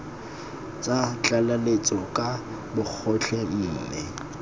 tsa tlaleletso ka bogotlhe mme